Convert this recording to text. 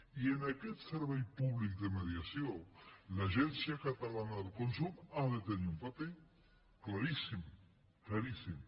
i en aquest servei públic de mediació l’agència catalana del consum ha de tenir un paper claríssim claríssim